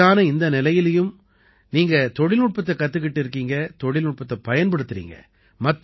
வயதான இந்த நிலையிலயும் நீங்க தொழில்நுட்பத்தைக் கத்துக்கிட்டு இருக்கீங்க தொழில்நுட்பத்தைப் பயன்படுத்தறீங்க